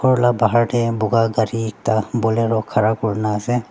khor la bahar tae buka gari ekta bolero ekta khara kurna ase.